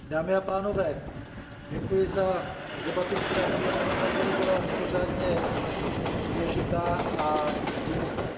Dámy a pánové, děkuji za debatu, která podle mého názoru byla mimořádně důležitá a hluboká.